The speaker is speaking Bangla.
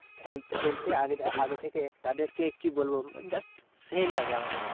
খেল খেলছে আগে আগে থেকে তাদেকে কি বলবো মানে just সেই লাগে আমাকে।